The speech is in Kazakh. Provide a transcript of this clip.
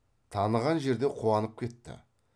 таныған жерде қуанып кетті